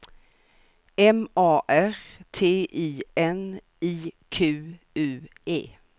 M A R T I N I Q U E